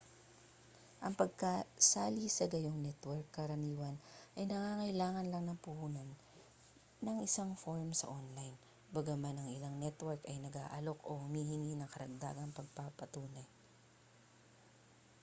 ang pagsali sa gayong network karaniwan ay nangangailangan lang na punan ang isang form sa online bagaman ang ilang network ay nag-aalok o humihingi ng karagdagang pagpapatunay